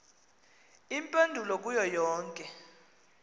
iimpendulo kuyo yonke